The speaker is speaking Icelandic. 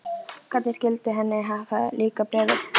Hvernig skyldi henni hafa líkað Bréfið?